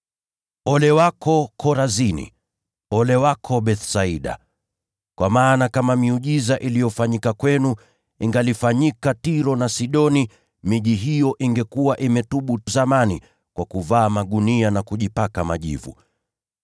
“Ole wako, Korazini! Ole wako Bethsaida! Kwa maana kama miujiza iliyofanyika kwenu, ingefanyika Tiro na Sidoni, miji hiyo ingekuwa imetubu zamani kwa kuvaa magunia na kujipaka majivu.